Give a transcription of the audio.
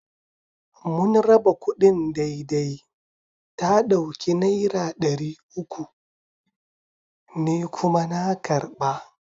Mun raba kudin daidai, ta dauki Naira dari uku, ni kuma na karba.